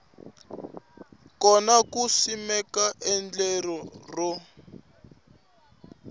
kona ku simeka endlelo ro